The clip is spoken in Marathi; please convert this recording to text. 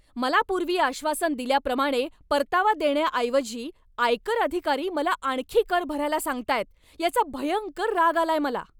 मला पूर्वी आश्वासन दिल्याप्रमाणे परतावा देण्याऐवजी आयकर अधिकारी मला आणखी कर भरायला सांगताहेत याचा भयंकर राग आलाय मला.